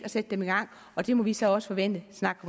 at sætte dem i gang og det må vi så også forvente snart